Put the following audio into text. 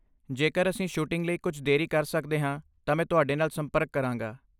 ਜੇਕਰ ਅਸੀਂ ਸ਼ੂਟਿੰਗ ਲਈ ਕੁਝ ਦੇਰੀ ਕਰ ਸਕਦੇ ਹਾਂ ਤਾਂ ਮੈਂ ਤੁਹਾਡੇ ਨਾਲ ਸੰਪਰਕ ਕਰਾਂਗਾ।